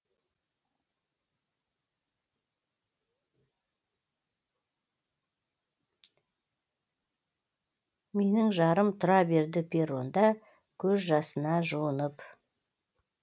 менің жарым тұра берді перронда көз жасына жуынып